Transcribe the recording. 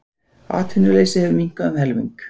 Atvinnuleysi hefur minnkað um helming.